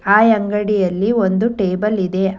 ಆ ಅಂಗಡಿಯಲ್ಲಿ ಒಂದು ಟೇಬಲ್ ಇದೆ.